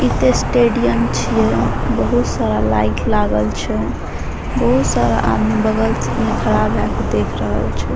इ ते स्टडियम छीये बहुत सारा लाइट लागल छै बहुत सारा आदमी बगल से ने खड़ा भए के देख रहल छै।